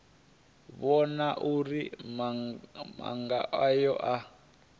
vhona uri maga aya a